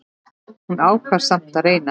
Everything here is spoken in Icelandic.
Hún ákvað samt að reyna.